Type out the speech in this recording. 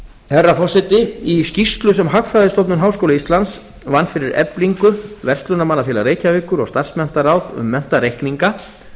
herra forseti í skýrslu sem hagfræðistofnun háskóla íslands vann fyrir eflingu verslunarmannafélag reykjavíkur og starfsmenntaráð um menntareikninga